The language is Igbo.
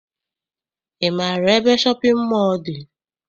Ị maara ebe shọpịn mọọ dị?